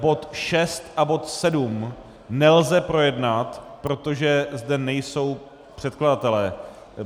Bod 6 a bod 7 nelze projednat, protože zde nejsou předkladatelé.